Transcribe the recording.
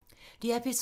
DR P3